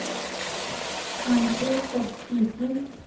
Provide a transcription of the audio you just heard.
манчестер сити